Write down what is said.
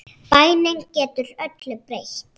Bænin getur öllu breytt.